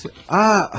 Nə diləkçə?